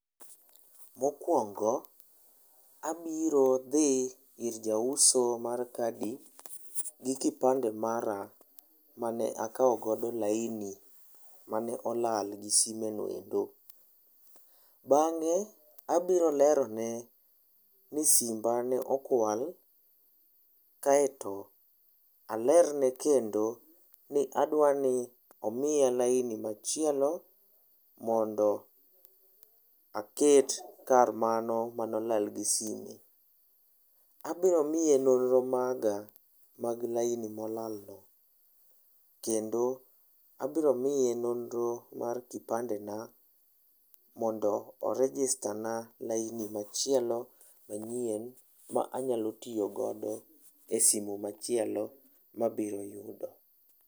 Mokuongo abiro dhi ir jauso mar kadi gi kipande mara mane akaw godo laini mane olal gi sime noendo. Bange abiro lerone ni simba ne okwal kaito alerne kendo ni adwani omiya laini machielo mondo aket kar mano mane olal gi sime. Abiro miye nonro maga mag laini molal no kendo abiro miye nonro mar kipande na mondo o register na laini machielo manyien manyalo tiyo godo e simu machielo ma abiro yudo